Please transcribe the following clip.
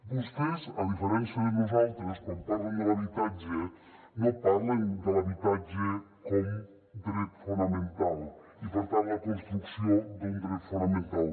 vostès a diferència de nosaltres quan parlen de l’habitatge no parlen de l’habitatge com a dret fonamental i per tant la construcció d’un dret fonamental